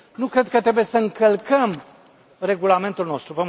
Nu cred că trebuie să încălcăm Regulamentul nostru.